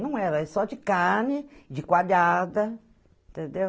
Não era, era só de carne, de coalhada, entendeu?